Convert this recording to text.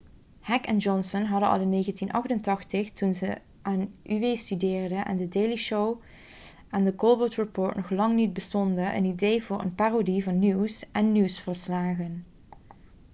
heck en johnson hadden al in 1988 toen ze aan uw studeerden en the daily show en the colbert report nog lang niet bestonden een idee voor een parodie van nieuws en nieuwsverslagen